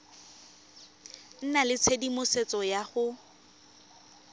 nna le tshedimosetso ya go